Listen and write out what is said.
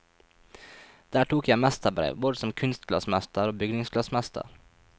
Der tok jeg mesterbrev, både som kunstglassmester og bygningsglassmester.